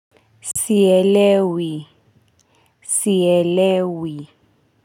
Sielewi, sielewi.